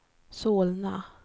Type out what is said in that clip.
Solna